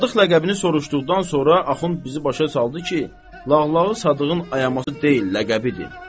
Sadıq ləqəbini soruşduqdan sonra axund bizi başa saldı ki, lağlağı Sadığın ayaması deyil, ləqəbidir.